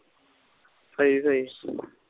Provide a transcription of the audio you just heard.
ਸਹੀ ਸਹੀ